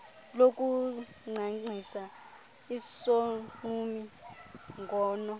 lokuncancisa isogqumi ngono